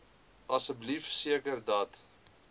asseblief seker dat